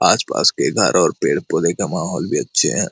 आस-पास के घर और पेड़-पौधे का माहौल भी अच्छे हैं।